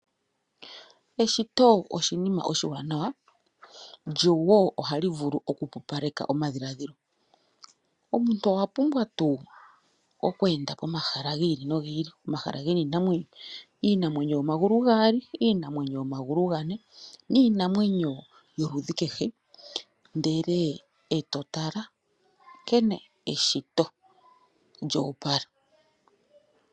Eshito oshinima oshiwanawa lyo wo ohali vulu oku pupaleka omadhiladhilo. Omuntu owa pumbwa tuu oku enda omahala gi ili no gi ili, omahala ge na iinamwenyo, iinamwenyo yomagulu gaali, iinamwenyo yomagulu gane niinamwenyo yoludhi kehe ndele e to tala nkene eshito lya opala.